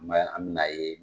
an bi n'a ye